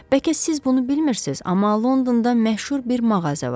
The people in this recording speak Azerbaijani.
Bəlkə siz bunu bilmirsiz, amma Londonda məşhur bir mağaza var.